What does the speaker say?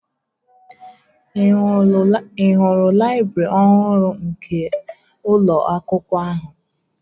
Ị hụrụ laịbrị ọhụrụ nke ụlọ akwụkwọ ahụ?